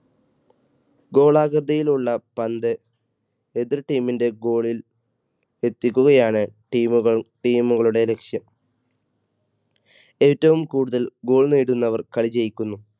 ഗോളാകൃതിയിലുള്ള പന്ത് എതിർ team ൻറെ goal ൽ എത്തിക്കുകയാണ് team കൾ team കളുടെ ലക്ഷ്യം. ഏറ്റവും കൂടുതൽ goal നേടുന്നവർ കളി ജയിക്കുന്നു.